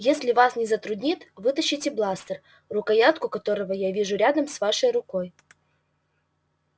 если вас не затруднит вытащите бластер рукоятку которого я вижу рядом с вашей рукой